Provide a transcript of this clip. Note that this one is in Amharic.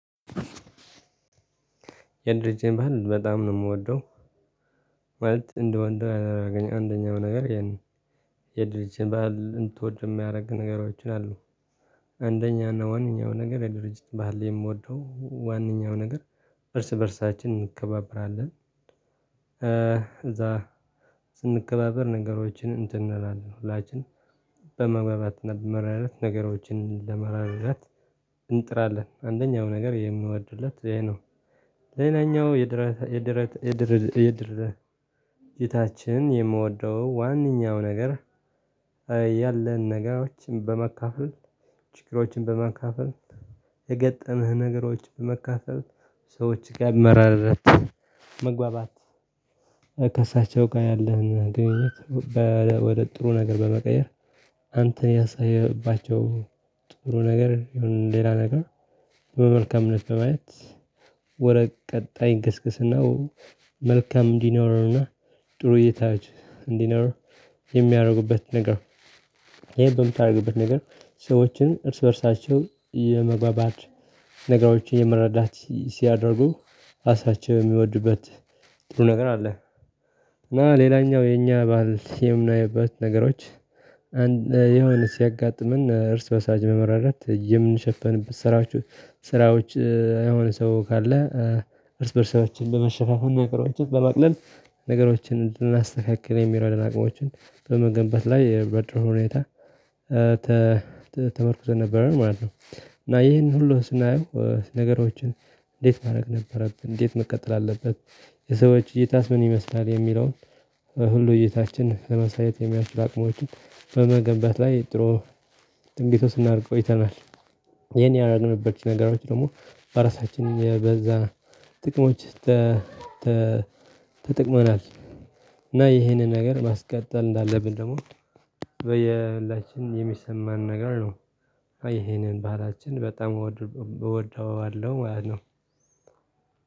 የድርጅቴን ባህል በጣም ነው የምወደው። ማለት እንደወደው ያደርገኝ አንደኛው ነገር ይሄን የድርጅትህን ባህል እንትወድ የሚያደርግ ንገራችሁ አሉ። አንደኛው ዋናው ነገር የድርጅት ባህል የምወደው ዋናው ነገር እርስ በእርሳችን እንከባብራለን። እዛ ስንከባበር ነገሮችን እንትን እንላለን ሁላችንም መረዳት ነገሮችን ለመረዳት እንጥራለን። አንደኛው ነገር የምወድለት ይሄ ሌላኛው የድርጅታችን የምወደው ዋናው ነገር። ያለን ነገሮችን በመካፈል ችግሮችን በመካፈል የገጠመህ ነገሮች በመካፈል ሰዎች ጋር መረዳዳት መግባባት። ከእሳቸው ጋር ያለህን ግንኙነት ወደ ጥሩ ነገር በመቀየር። አንተ ያሳየባቸው ጥሩ ነገር የሆነ ሌላ ነገር በመልካምነት በማየት ወደ ቀጣይ እንግስግስናው መልካም እንዲኖረንና ጥሩ እይታዎች። የሚያደርጉበት ነገር ይሄ በምታደርግበት ነገር ሰዎችን እርስ በእርሳቸው የመግባባት ነገሮችን የመረዳት ሲያደርጉ ራሳቸው የሚወዱበት ጥሩ ነገር አለ። እና ሌላኛው የኛ ባህል የምናይበት ነገሮች የሆነ ሲያጋጥመን እርስ በርሳችን በመረዳዳት የምንሸፍንበት ስራዎች የሆነ ሰው ካለ እርስ በእርሳቸውን በመሸፍፈን ነገሮችን በማቅለል ነገሮችን እንድናስተካክል የሚረዱና አቅሞችን በመገንበባ ላይ በጥሩ ሁኔታ። ተመርኩዘን ነበር ማለት ነው። እና ይህንን ሁሉ ስናየው ነገሮችን እንዴት ማድረግ ነበረብን እንዴት መቀጠል አለበት? የሰዎች እይታስ ምን ይመስላል የሚለውን ሁሉ እይታችን ለመሳየት የሚያስችል አቅሞችን በመገንባት ላይ ጥሩ ጥንቂት ስናደርግ ቆይተናል። ይሄን ያረኝበት ነገሮች ደግሞ በራሳችን በዛ ጥቅሞች። ተጠቅመናል እና ይሄንን ነገር ማስቀጠል እንዳለብን ደግሞ በየባህላችን የሚሰማን ነገር ነው። አይ ይሄንን ባህላችን በጣም እወደዋለሁ አይደለም።